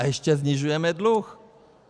A ještě snižujeme dluh.